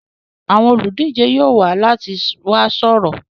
Àwọn olùdíje yóò wá láti wá sọ̀rọ̀.